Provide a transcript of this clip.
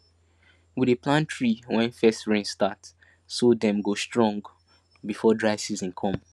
we dey plant tree when first rain start so dem go strong before dry season come